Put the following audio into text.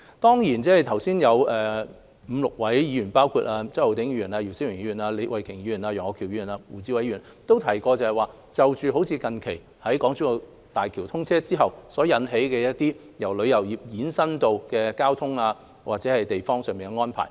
剛才有5位議員，包括周浩鼎議員、姚思榮議員、李慧琼議員、楊岳橋議員和胡志偉議員，都提到最近港珠澳大橋通車後，由旅遊業衍生的交通或地方上的安排。